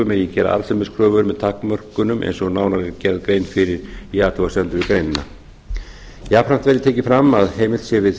megi gera arðsemiskröfur með takmörkunum eins og nánar er gerð grein fyrir í athugasemdum við greinina jafnframt er tekið fram að heimilt sé við